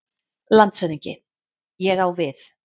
LANDSHÖFÐINGI: Ég á við.